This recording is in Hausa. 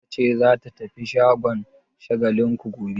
Binta ce za ta tafi shagon Shagalinku gobe?